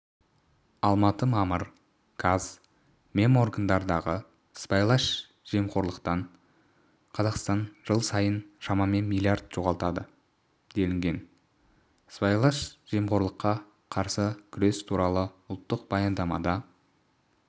алматы мамыр қаз меморгандардағы сыбайлас жемқорлықтан қазақстан жыл сайын шамамен млрд жоғалтады делінген сыбайлас жемқорлыққа қарсы күрес туралы ұлттық баяндамада